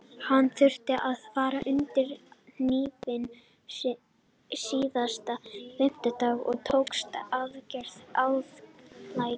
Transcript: Hann þurfti að fara undir hnífinn síðastliðinn fimmtudag og tókst aðgerðin ágætlega.